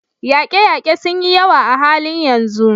Yaƙe-yaƙe sun yi yawa a halin yanzu.